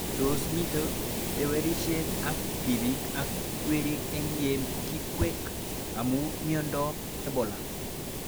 Tos mito tewerishet ab tipik ak werik eng' ye kikwek amu miondop Ebola